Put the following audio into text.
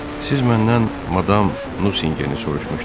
Siz məndən madam Nusinqeni soruşmuşdunuz.